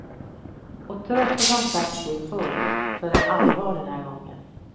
Och trots att han sagt det förr så är det allvar den här gången.